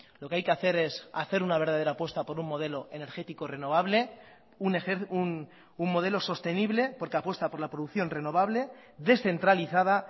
lo que hay que hacer es hacer una verdadera apuesta por un modelo energético renovable un modelo sostenible porque apuesta por la producción renovable descentralizada